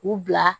U bila